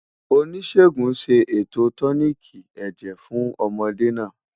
Oníṣègùn ṣé ètò tóníkí èjè fún ọ̀módè nà